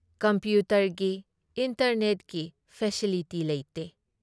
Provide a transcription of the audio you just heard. ꯀꯝꯄ꯭ꯌꯨꯇꯔꯒꯤ, ꯏꯟꯇꯔꯅꯦꯠꯀꯤ ꯐꯦꯁꯤꯂꯤꯇꯤ ꯂꯩꯇꯦ ꯫